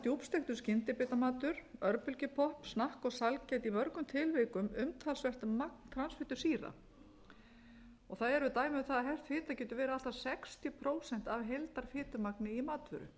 djúpsteiktur skyndibitamatur örbylgjupopp snakk og sælgæti inniheldur í mörgum tilvikum umtalsvert magn transfitusýra það eru dæmi um það að hert fita getur verið allt að sextíu prósent af heildarfitumagni í matvöru ég er nú